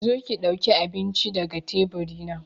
Zo ki dauka abincin ga daga tebur dina!